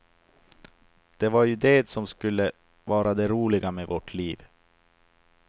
Det var ju det som skulle vara det roliga med vårt liv.